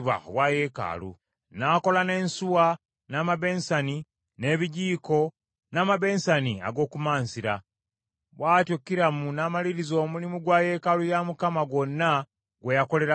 N’akola n’ensuwa, n’amabensani, n’ebijiiko, n’amabensani ag’okumansira. Bw’atyo Kiramu n’amaliriza omulimu gwa yeekaalu ya Mukama gwonna gwe yakolera Kabaka Sulemaani.